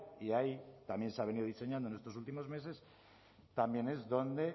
y ahí también se ha venido diseñando en estos últimos meses también es donde